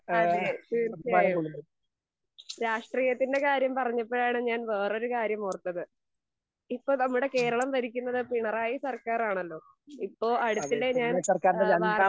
അതെ തീർച്ചയായും. രാഷ്ട്രീയത്തൻ്റെ കാര്യം പറഞ്ഞപ്പോഴാണ് ഞാൻ വേറൊരു കാര്യം ഓർത്തത് ഇപ്പൊ നമ്മുടെ കേരളം ഭരിക്കുന്നത് പിണറായി സർക്കാരാണല്ലോ ഇപ്പൊ അടുത്തിടെ ഞാൻ ഏഹ് വാർ